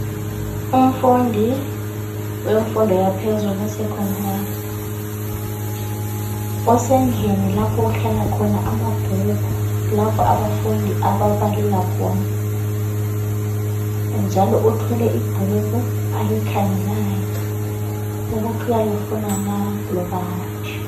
Umfundi wemfundo yaphezulu e-Secondary. Usendlini lapho okuhlala khona amabhuku lapho abafundi ababalela khona njalo uthwele ibhuku alikhangelayo ukuthi uyalifuna na loba hatshi.